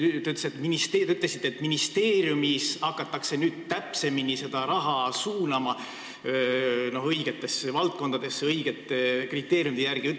Te ütlesite, et ministeeriumis hakatakse nüüd seda raha täpsemini suunama, õigetesse valdkondadesse, õigete kriteeriumide järgi.